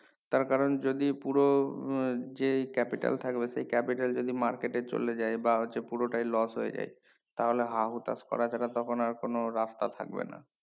তার কারণ যদি পুরো আহ যেই capital থাকবে সেই capital যদি market এ চলে যায় বা হচ্ছে পুরোটাই loss হয়ে যায় তাহলে হা~হতাশ করা ছাড়া তখন আর কোনো রাস্তা থাকবে না